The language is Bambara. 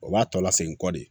O b'a tɔ lasegin kɔ de